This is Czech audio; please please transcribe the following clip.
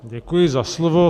Děkuji za slovo.